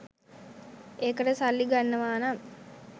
ඒකට සල්ලි ගන්නවා නම්